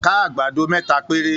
Ká àgbàdo mẹ́ta péré.